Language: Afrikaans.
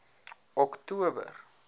oktober